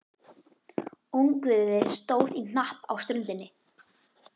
Ungviðið stóð í hnapp á ströndinni.